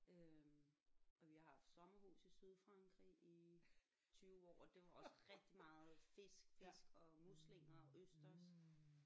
Øh og vi har haft sommerhus i Sydfrankrig i 20 år og det var også rigtig meget fisk fisk og muslinger og østers